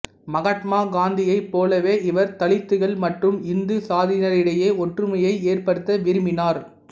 மகாத்மா காந்தியைப் போலவே இவர் தலித்துகள் மற்றும் இந்து சாதியினரிடையே ஒற்றுமையை ஏற்படுத்த விரும்பினார்